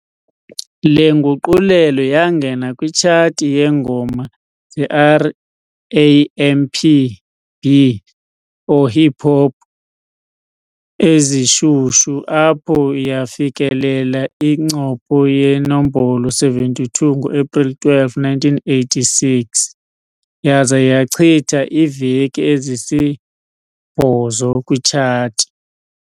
Le nguqulelo yangena kwitshathi yeeNgoma zeR amp B or Hip-Hop ezishushu apho yafikelela incopho yenombolo 72 ngoAprili 12, 1986 yaza yachitha iiveki ezisi-8 kwitshati.